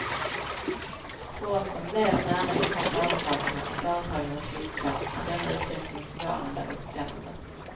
För oss som lever nära inpå företagarna och företagandets villkor är denna utveckling förvånande och beklämmande.